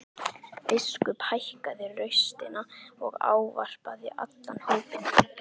Biskup hækkaði raustina og ávarpaði allan hópinn.